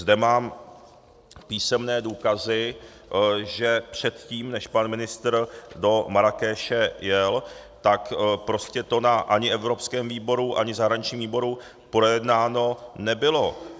Zde mám písemné důkazy, že předtím než pan ministr do Marrákeše jel, tak prostě to ani na evropském výboru, ani zahraničním výboru projednáno nebylo.